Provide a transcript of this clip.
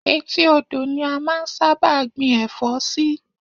Etí odò ni a máa ń sábà gbin ẹ̀fọ́ sí